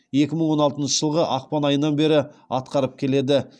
екі мың он алтыншы жылғы ақпан айынан бері атқарып келеді